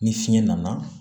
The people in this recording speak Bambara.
Ni fiɲɛ nana